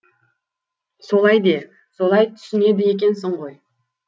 солай де солай түсінеді екенсің ғой